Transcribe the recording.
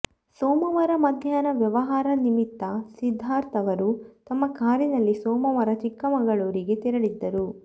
ಸೋಮವಾರ ಮಧ್ಯಾಹ್ನ ವ್ಯವಹಾರ ನಿಮಿತ್ತ ಸಿದ್ಧಾರ್ಥ ಅವರು ತಮ್ಮ ಕಾರಿನಲ್ಲಿ ಸೋಮವಾರ ಚಿಕ್ಕಮಗಳೂರಿಗೆ ತೆರಳಿದ್ದರು